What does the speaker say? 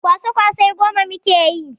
Kwasa-kwasai goma muke yi.